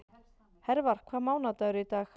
Hervar, hvaða mánaðardagur er í dag?